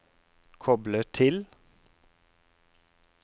koble til